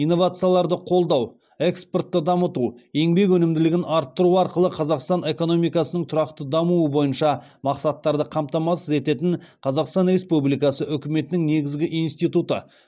инновацияларды қолдау экспортты дамыту еңбек өнімділігін арттыру арқылы қазақстан экономикасының тұрақты дамуы бойынша мақсаттарды қамтамасыз ететін қазақстан республикасы үкіметінің негізгі институты